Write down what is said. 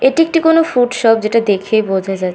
এটি একটি কোনো ফুড শপ যেটা দেখে বোঝা যা--